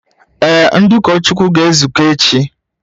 Ee, ndị ụkọchukwu ga-ezukọ echi